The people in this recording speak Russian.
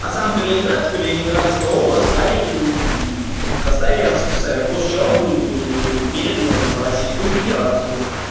а сам калининград калининградская область стали в составе рсфср после чего были переданы в российскую федерацию